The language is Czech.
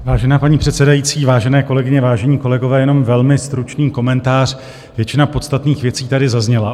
Vážená paní předsedající, vážené kolegyně, vážení kolegové, jenom velmi stručný komentář, většina podstatných věcí tady zazněla.